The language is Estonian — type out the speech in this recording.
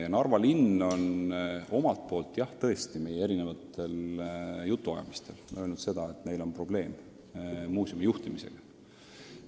Narva linn on meile eri jutuajamistel tõesti öelnud, et nende arvates on muuseumi juhtimisega probleeme.